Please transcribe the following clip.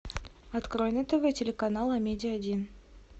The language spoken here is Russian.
открой на тв телеканал амедиа один